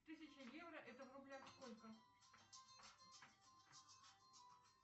тысяча евро это в рублях сколько